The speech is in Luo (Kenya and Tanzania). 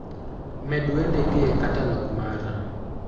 med wendegi e katalog mara